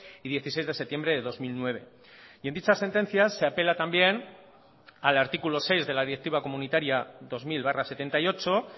y dieciséis de septiembre de dos mil nueve y en dichas sentencias se apela también al artículo seis de la directiva comunitaria dos mil barra setenta y ocho